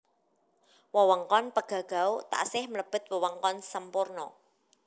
Wewengkon Pegagau taksih mlebet wewengkon Semporna